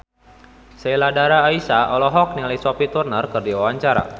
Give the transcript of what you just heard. Sheila Dara Aisha olohok ningali Sophie Turner keur diwawancara